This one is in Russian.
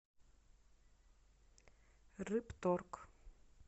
рыбторг